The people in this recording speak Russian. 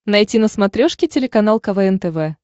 найти на смотрешке телеканал квн тв